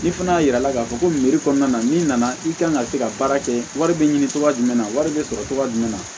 Ni fana y'a yira i la k'a fɔ ko kɔnɔna na n'i nana i ka kan ka se ka baara kɛ wari bɛ ɲini cogoya jumɛn na wari bɛ sɔrɔ cogoya jumɛn na